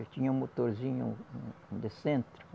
Eu tinha um motorzinho um de centro.